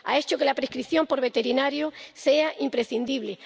ha hecho que la prescripción por el veterinario sea imprescindible